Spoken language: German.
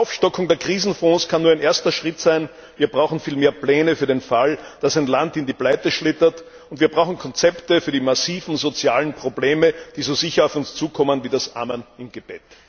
Die Aufstockung der Krisenfonds kann nur ein erster Schritt sein, wir brauchen viel mehr Pläne für den Fall, dass ein Land in die Pleite schlittert, und wir brauchen Konzepte für die massiven sozialen Probleme, die so sicher auf uns zukommen wie das Amen im Gebet.